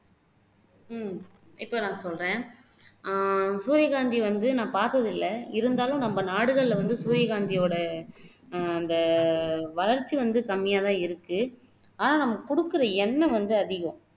உம் இப்போ நான் சொல்றேன் அஹ் சூரியகாந்தி வந்து நான் பார்த்ததில்லை இருந்தாலும் நம்ம நாடுகள்ல வந்து சூரியகாந்தியோட அஹ் அந்த வளர்ச்சி வந்து கம்மியாதான் இருக்கு ஆனா நம்ம குடுக்குற எண்ணெய் வந்து அதிகம்